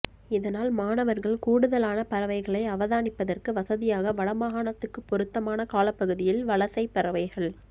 இதனால் மாணவர்கள் கூடுதலான பறவைகளை அவதானிப்பதற்கு வசதியாக வடமாகாணத்துக்குப் பொருத்தமான காலப்பகுதியில் வலசைப் பறவைகள்